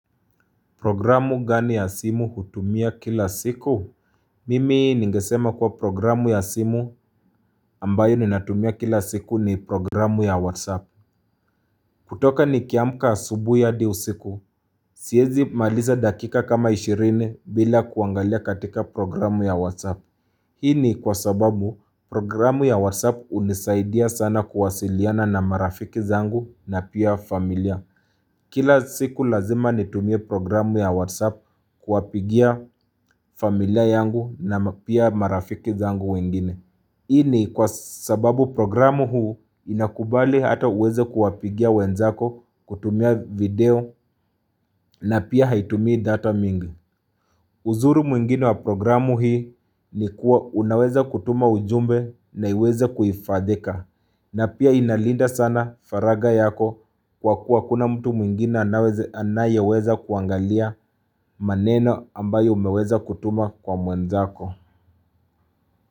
Programu gani ya simu hutumia kila siku? Mimi ningesema kuwa programu ya simu ambayo ninatumia kila siku ni programu ya WhatsApp. Kutoka ni kiamka asubuhi hadi usiku, siwezi kumaliza dakika kama 20 bila kuangalia katika programu ya WhatsApp. Hii ni kwa sababu programu ya WhatsApp hunisaidia sana kuwasiliana na marafiki zangu na pia familia. Kila siku lazima nitumie programu ya WhatsApp kuwapigia familia yangu na pia marafiki zangu wengine. Hii ni kwa sababu programu huu inakubali hata uweze kuwapigia wenzako kutumia video na pia haitumii data mingi. Uzuri mwingine wa programu hii ni kuwa unaweza kutuma ujumbe na iweze kuhifadhika. Na pia inalinda sana faragha yako kwa kuwa hakuna mtu mwingine anayeweza kuangalia maneno ambayo umeweza kutuma kwa mwenzako.